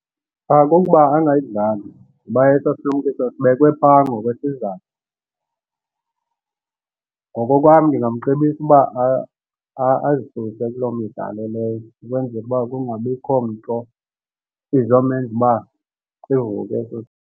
Kukuba angayidlali kuba esaa silumkiso sibekwe phaa ngokwe sizathu. Ngokokwam ndingamcebisa uba azisuse kuloo midlalo leyo ukwenzela uba kungabikho nto izomenza uba sivuke esi sifo.